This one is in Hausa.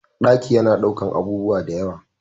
Ɗaki yana ɗaukan abubuwa dayawa